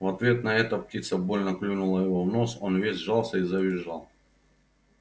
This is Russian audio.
в ответ на это птица больно клюнула его в нос он весь сжался и завизжал